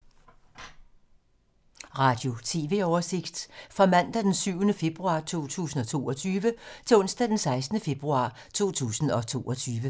Radio/TV oversigt fra mandag d. 7. februar 2022 til onsdag d. 16. februar 2022